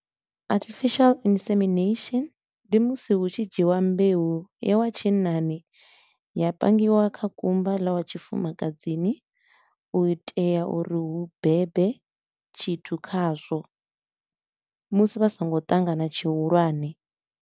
Artificial Insemination ndi musi hu tshi dzhiwa mbeu ya wa tshinnani ya pangiwa kha kumba ḽa wa tshifumakadzini, u itela uri hu bebe tshithu khazwo musi vha songo ṱangana tshihulwane.